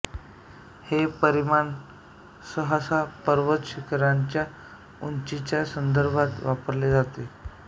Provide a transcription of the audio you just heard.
हे परिमाण सहसा पर्वतशिखरांच्या उंचीच्या संदर्भात वापरले जाते